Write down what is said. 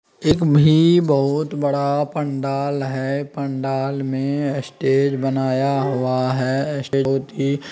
भी बहुत ही बड़ा पंडाल है पंडाल में स्टेज बनाया हुआ है --